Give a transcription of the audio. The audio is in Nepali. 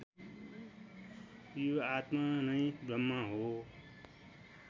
यो आत्मा नै ब्रह्म हो